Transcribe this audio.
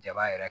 Jaba yɛrɛ